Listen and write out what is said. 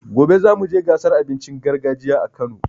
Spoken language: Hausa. Gobe zamu je gasar abincin gargajiya a Kano.